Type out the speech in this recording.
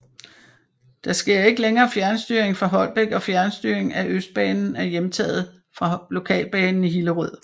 Der sker ikke længere fjernstyring fra Holbæk og fjernstyring af Østbanen er hjemtaget fra Lokalbanen i Hillerød